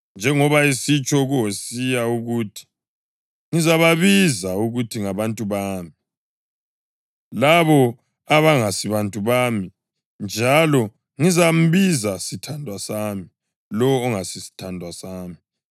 Njengoba esitsho kuHosiya ukuthi: “Ngizababiza ngokuthi ‘ngabantu bami,’ + 9.25 UHosiya 2.23 labo Abangasibantu bami; njalo ngizambiza ‘sithandwa sami,’ lowo ongasiso isithandwa sami,”